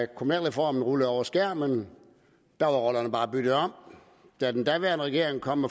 kommunalreformen rullede over skærmen var rollerne bare byttet om da den daværende regering kom